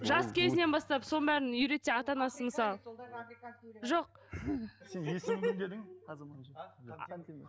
жас кезінен бастап соның бәрін үйретсе ата анасы мысалы жоқ сен есімің кім дедің азамат хантемір